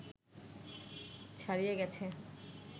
ছাড়িয়ে গেছে